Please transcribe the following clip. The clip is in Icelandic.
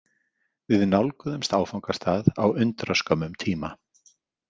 Við nálguðumst áfangastað á undraskömmum tíma.